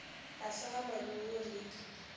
tlase ga more wo le